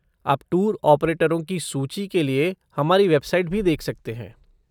आप टूर ऑपरेटरों की सूची के लिए हमारी वेबसाइट भी देख सकते हैं।